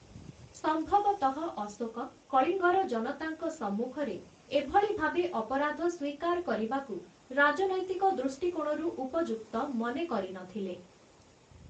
ସମ୍ଭବତଃ ଅଶୋକ କଳିଙ୍ଗର ଜନତାଙ୍କ ସମ୍ମୁଖରେ ଏଭଳି ଭାବେ ଅପରାଧ ସ୍ୱୀକାର କରିବାକୁ ରାଜନୈତିକ ଦୃଷ୍ଟିକୋଣରୁ ଉପଯୁକ୍ତ ମନେ କରିନଥିଲେ ।